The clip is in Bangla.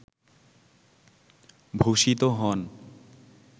ভূষিত হন